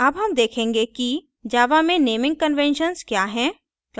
अब हम देखेंगे कि java में naming conventions we हैं